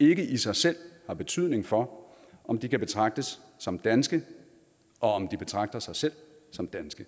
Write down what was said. ikke i sig selv har betydning for om de kan betragtes som danske og om de betragter sig selv som danske